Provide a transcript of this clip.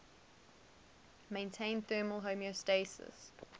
maintain thermal homeostasis